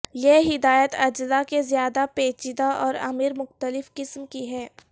یہ ہدایت اجزاء کے زیادہ پیچیدہ اور امیر مختلف قسم کی ہے